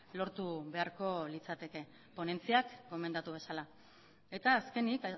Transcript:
lortu beharko litzateke ponentziak gomendatu bezala eta azkenik